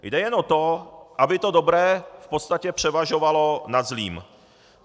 Jde jen o to, aby to dobré v podstatě převažovalo nad zlým.